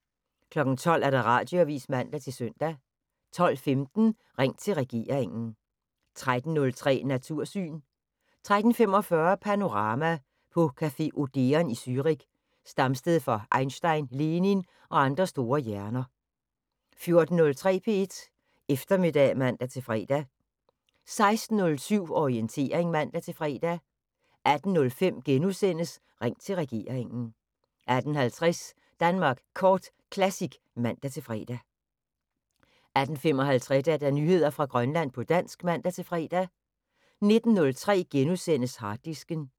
12:00: Radioavis (man-søn) 12:15: Ring til regeringen 13:03: Natursyn 13:45: Panorama: På café Odeon i Zürich, stamsted for Einstein, Lenin og andre store hjerner 14:03: P1 Eftermiddag (man-fre) 16:07: Orientering (man-fre) 18:05: Ring til regeringen * 18:50: Danmark Kort Classic (man-fre) 18:55: Nyheder fra Grønland på dansk (man-fre) 19:03: Harddisken *